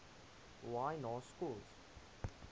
y na schools